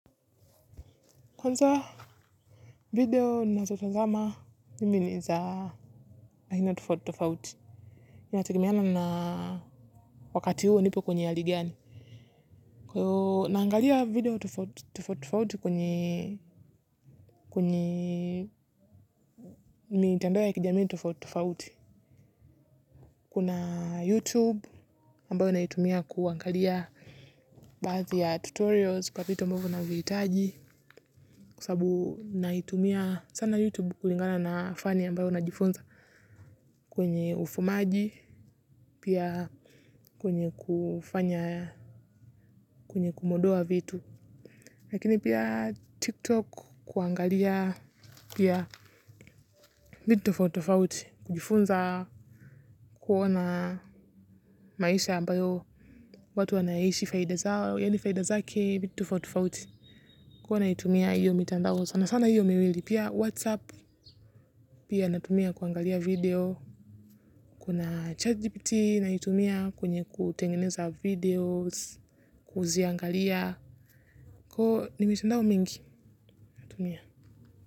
Kwanza, video nazo tazama, mi ni za, aina tofauti tofauti. Inategemeana na wakati huo nipo kwenye ya hali gani. Yo, naangalia video tofauti tofauti kwenye, kuni, mitandao ya kijamii tofauti tofauti. Kuna YouTube, ambayo naitumia kuangalia baadhi ya tutorials kwa vitu ambavyo navihitaji. Kwa sababu, naitumia sana YouTube kulingana na fani ambayo najifunza. Kwenye ufumaji pia kwenye kufanya kwenye kumodoa vitu. Lakini pia tiktok kuangalia pia vitu tofauti tofauti. Kujifunza kuona maisha ambayo watu wanaishi faida zao. Yani faida zake vitu tofauti tofauti huwa naitumia iyo mitandao sana sana iyo miwili pia whatsapp. Pia natumia kuangalia video. Kuna chatgpt naitumia kwenye kutengeneza videos kuuziangalia ko nimwisindau mingi kutumia.